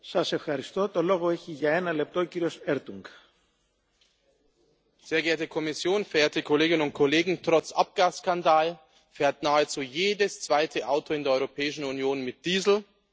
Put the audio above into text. Herr Präsident, sehr geehrte Kommission, verehrte Kolleginnen und Kollegen! Trotz Abgasskandal fährt nahezu jedes zweite Auto in der Europäischen Union mit Diesel.